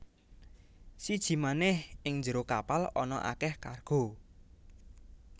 Siji manèh ing njero kapal ana akèh kargo